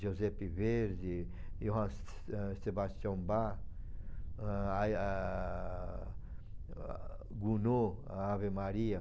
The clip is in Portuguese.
Giuseppe Verdi, Johann ãh Sebastian Bach, ãh, ai eh... Gounod, Ave Maria.